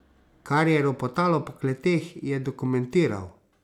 Kar je ropotalo po kleteh, je dokumentiral.